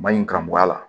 Maɲi ka bɔ a la